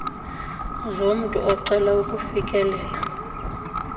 zomntu ocela ukufikelela